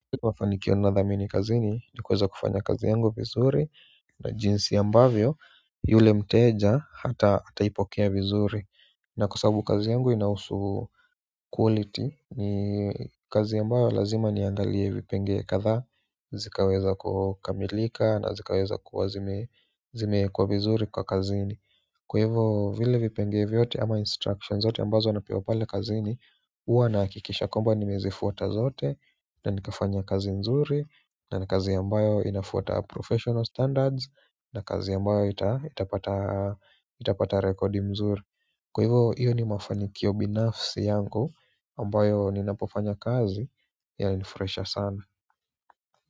Nikiwa nadhamini kazini ni kuweza kufanya kazi yangu vizuri na jinsi ambavyo yule mteja ataipokea vizuri na kwa sababu kazi yangu inahusu quality ni kazi ambayo lazima niangalie vipenge kadhaa zikaweza kukamilika na zikaweza kuwa zimeekwa vizuri kwa kazini kwa hivo vile vipenge vyote ama instructions zote ambazo napewa pale kazini huwa nahakikisha kwamba nimezifuata zote na nikafanya kazi nzuri na ni kazi ambayo inafuata professional standards na kazi ambayo itapata rekodi mzuri kwa hivyo, hiyo ni mafanikio binafsi yangu ambayo ninapofanya kazi yanifurahisha sana.